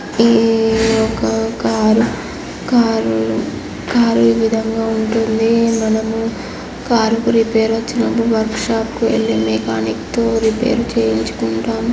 ఇది ఒక car . Car ఈ విధంగా ఉంటుంద.మనము కారు కు రిపేరు వెళ్లి మెకానిక్ తో రిపేరు చేయించుకుంటాము.